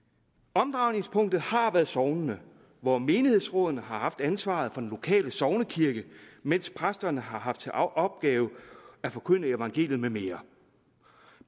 omdrejningspunktet har været sognene hvor menighedsrådene har haft ansvaret for den lokale sognekirke mens præsterne har haft til opgave at forkynde evangeliet med mere